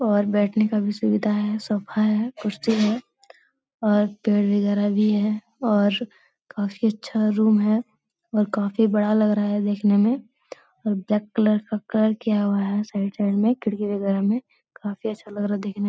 और बैठने का भी सुविधा है। सोफ़ा है कुर्सी है और पेड़ वगैरा भी है और काफी अच्छा रूम है और काफी बड़ा लग रहा है देखने में और ब्लैक कलर का कलर किया हुआ है साइड साइड में खिड़की वगैरा में। काफी अच्छा लग रहा है देखने --